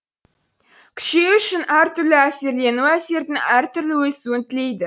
күшею үшін әр түрлі әсерлену әсердің әр түрлі өсуін тілейді